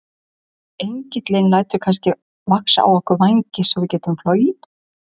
Engillinn lætur kannski vaxa á okkur vængi svo við getum flogið?